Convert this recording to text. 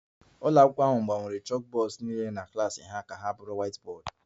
Ụlọ akwụkwọ ahụ gbanwere chalkboards niile na klas ha na whiteboards